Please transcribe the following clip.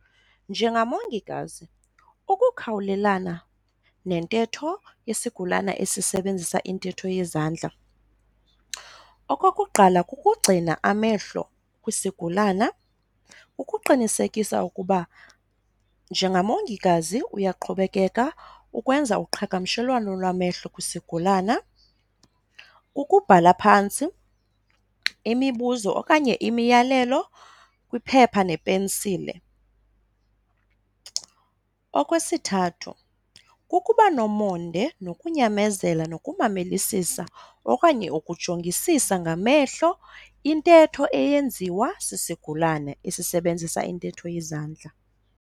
Njengamongikazi, ukukhawulelana nentetho yesigulana esisebenzisa intetho yezandla, okokuqala, kukugcina amehlo kwisigulana ukuqinisekisa ukuba njengamongikazi uyaqhubekeka ukwenza uqhagamshelwano lwamehlo kwisigulana. Ukubhala phantsi imibuzo okanye imiyalelo kwiphepha nepensile. Okwesithathu, kukuba nomonde nokunyamezela nokumamelisisa okanye ukujongisisa ngamehlo intetho eyenziwa sisigulane esisebenzisa intetho yezandla.